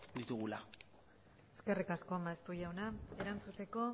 ditugula eskerrik asko maeztu jauna erantzuteko